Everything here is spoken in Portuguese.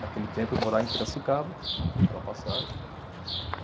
Naquele tempo, morar em Piracicaba, né, aquela passagem.